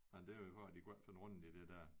Nej det var vel for de ikke kunne finde rundt i det der